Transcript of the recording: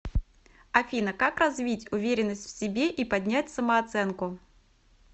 афина как развить уверенность в себе и поднять самооценку